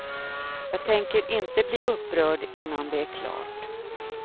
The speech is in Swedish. Jag tänker inte bli upprörd innan det är klart.